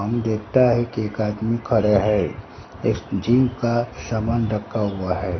हम देखाता है कि एक आदमी खड़ा हैं इस जीम का सामान रखा हुआ है।